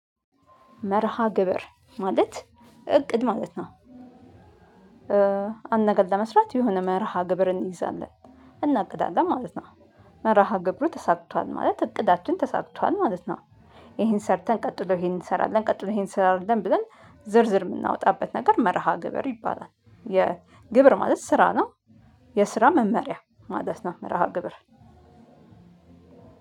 መርሃ ግብር ማለት እቅድ ማለት ነው። አንድ ለመስራት የሆነ መርሃ ግብር እንይዛለን እናቅዳለን ማለት ነው። መርሃ ግብሩ ተሳክቷል ማለት እቅዳችን ተሳክቷል ማለት ነው። ይሄን ሰርተን ቀጥለው ይሄን እንሰራለን ቀጥለው ይሄን እንሰራለን ብለን ዝርዝር የምናወጣበት ነገር መርሃ ግብር ይባላል። የግብር ማለት ስራ ነው። የስራ መመሪያ ማለት ነው መርሃ ግብር።